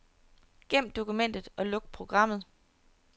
Gem dokumentet og luk programmet.